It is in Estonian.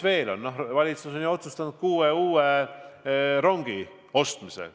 Valitsus on otsustanud osta kuus uut rongi.